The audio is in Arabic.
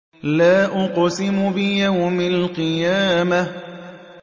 لَا أُقْسِمُ بِيَوْمِ الْقِيَامَةِ